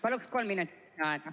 Palun kolm minutit lisaaega.